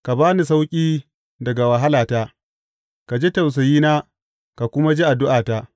Ka ba ni sauƙi daga wahalata; ka ji tausayina ka kuma ji addu’ata.